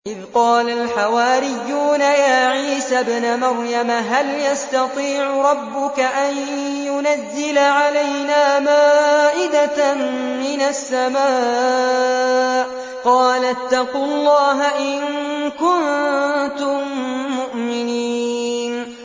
إِذْ قَالَ الْحَوَارِيُّونَ يَا عِيسَى ابْنَ مَرْيَمَ هَلْ يَسْتَطِيعُ رَبُّكَ أَن يُنَزِّلَ عَلَيْنَا مَائِدَةً مِّنَ السَّمَاءِ ۖ قَالَ اتَّقُوا اللَّهَ إِن كُنتُم مُّؤْمِنِينَ